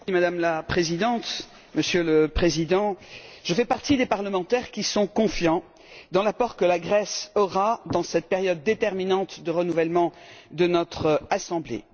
Madame la Présidente, Monsieur le Président, je fais partie des parlementaires qui sont confiants dans l'apport que la Grèce aura dans cette période déterminante de renouvellement de notre assemblée.